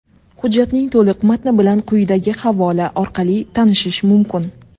Hujjatning to‘liq matni bilan quyidagi havola orqali tanishish mumkin.